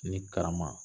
Ni karama